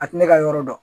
A tɛ ne ka yɔrɔ dɔn